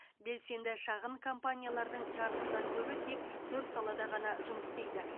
белсенді шағын компаниялардың жартысынан көбі тек төрт салада ғана жұмыс істейді